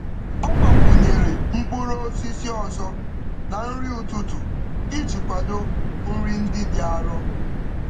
Ọ gbakwụnyere mkpụrụ osisi ọzọ na nri ụtụtụ iji kwado nri ndị dị arọ.